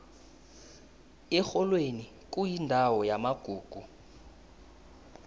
erholweni kuyindawo yamagugu